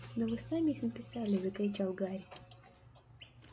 да вы сами их написали закричал гарри